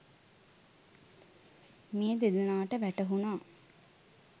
මේ දෙදෙනාට වැටහුනා.